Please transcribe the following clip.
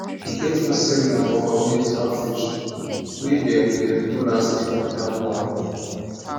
e get one seminar for community outreach wey dem dem do last week for town hall